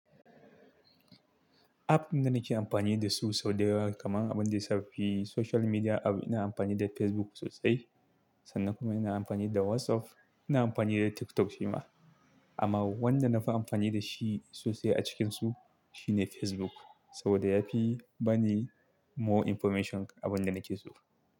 App da nake amfani da su sau da yawa kamar abin da ya saki social media app ina amfani da Facebook sosai, sannan kuma ina amfani da WhatsApp, ina amfani da TikTok shima. Amma wanda nafi amfani da shi sosai a cikinsu shine Facebook saboda yafi bani more information abin da nake so.